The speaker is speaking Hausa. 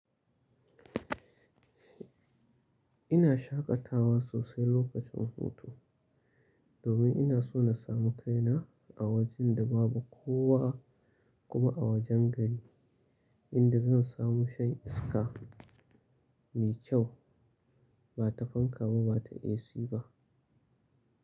Ina shaƙatawa sosai lokacin hutu domin ina so na sami kaina a wajen da babu kowa kuma a wajen gari inda zan samu shan iska mai kyau ba ta fanka ba, ba ta AC ba.